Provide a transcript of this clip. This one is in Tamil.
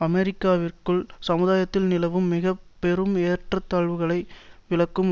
அமெரிக்காவிற்குள் சமுதாயத்தில் நிலவும் மிக பெரும் ஏற்றத்தாழ்வுகளை விளக்கும்